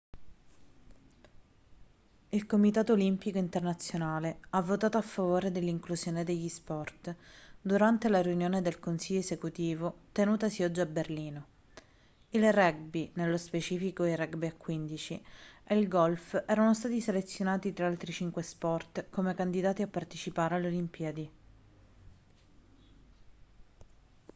il comitato olimpico internazionale ha votato a favore dell'inclusione degli sport durante la riunione del consiglio esecutivo tenutasi oggi a berlino il rugby nello specifico il rugby a 15 e il golf erano stati selezionati tra altri cinque sport come candidati a partecipare alle olimpiadi